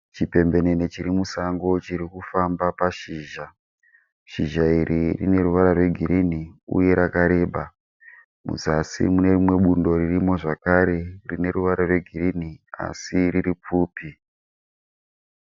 Chipembenene chiri musango chiri kufamba pashizha. Shizha iri rine ruvara rwegirini uye rakareba. Muzasi mune rimwe bundo ririmo zvakare rine ruvara rwegirini asi riri pfupi.